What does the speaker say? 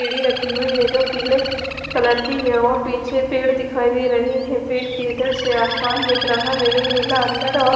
सीढ़ी रखी हुई है जो पीले कलर की है और पीछे पेड़ दिखाई दे रहे है पेड़ की इधर से आसमान दिख रहा है जो नीला अंदर और --